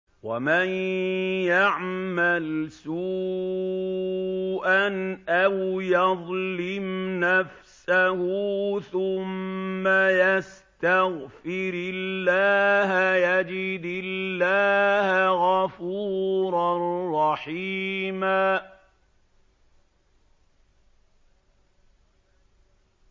وَمَن يَعْمَلْ سُوءًا أَوْ يَظْلِمْ نَفْسَهُ ثُمَّ يَسْتَغْفِرِ اللَّهَ يَجِدِ اللَّهَ غَفُورًا رَّحِيمًا